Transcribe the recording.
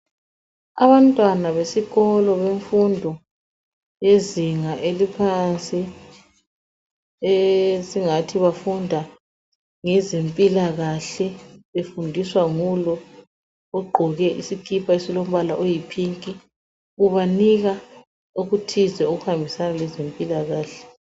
Abantwana besikolo bemfundo yezinga eliphansi esingathi bafunda ngezempilakahle befundiswa ngulo ogqoke isikipa esilombala oyipink ubanika okuthize okuhambisana lezempilakahle